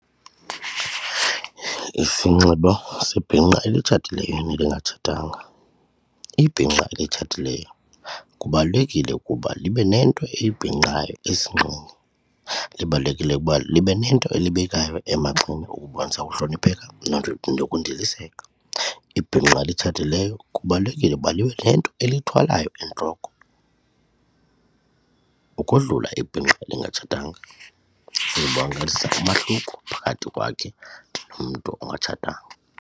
Isinxibo sebhinqa elitshatileyo nelingatshatanga, ibhinqa elitshatileyo kubalulekile ukuba libe nento elibhinqayo esinqeni libalulekile ukuba libe nento elibekwayo emagxeni ukubonisa ukuhlonipheka nokundiliseka. Ibhinqa elitshatileyo kubalulekile ukuba libe nento elithwalayo entloko ukodlula ibhinqa elingatshatanga uzibonakalisa umahluko phakathi kwakhe nomntu ongatshatanga.